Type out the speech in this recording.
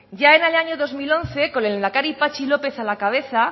ya en el año dos mil once con el lehendakari patxi lópez a la cabeza